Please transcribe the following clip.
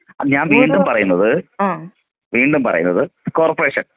ഞാൻ വീണ്ടും പറയുന്നത് വീണ്ടും പറയുന്നത് കോർപ്പറേഷൻ.